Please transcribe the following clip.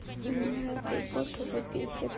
ну меня это бот уже бесит